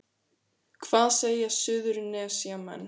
Hvað segja Suðurnesjamenn